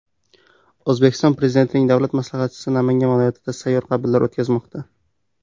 O‘zbekiston Prezidentining davlat maslahatchisi Namangan viloyatida sayyor qabullar o‘tkazmoqda.